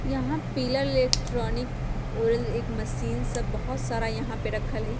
यहाँ pillar electronic और एक मशीन सब बहोत सारा यहाँ पे रखल है।